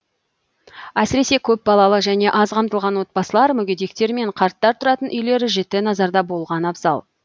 әсіресе көпбалалы және аз қамтылған отбасылар мүгедектер мен қарттар тұратын үйлер жіті назарда болған абзал